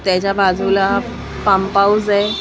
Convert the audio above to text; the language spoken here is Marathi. त्याच्या बाजूला पम्प हाऊस ए .